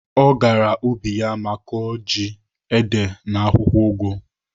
Ọ gara ubi ya ma kọọ ji, ede na akwụkwọ ụgụ.